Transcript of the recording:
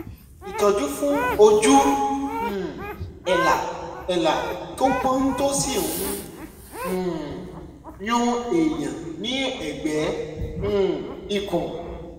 ìtọ́jú fún ojú um èélá èélá tó pọ́n tó sì ń um yún èèyàn ní ẹ̀gbẹ́ um ikùn